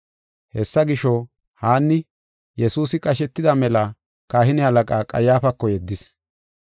Hessa gisho, Haanni, Yesuusi qashetida mela kahine halaqaa Qayyaafako yeddis.